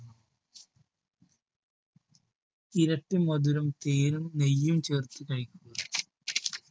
ഇരട്ടിമധുരം തേനും നെയ്യും ചേർത്ത് കഴിക്കുക.